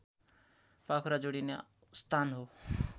पाखुरा जोडिने स्थान हो